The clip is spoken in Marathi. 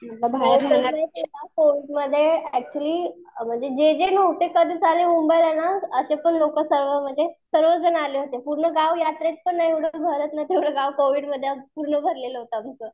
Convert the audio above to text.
कोविडमध्ये एक्च्युली म्हणजे जे जे मुंबईला ना असे पण आले होते म्हणजे पूर्ण गाव यात्रेत तेवढं गाव कोविडमध्ये पूर्ण भरलेलं होतं आमचं.